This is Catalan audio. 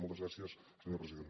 moltes gràcies senyor president